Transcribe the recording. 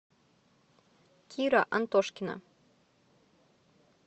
кира антошкина